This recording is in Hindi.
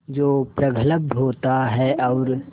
जो प्रगल्भ होता है और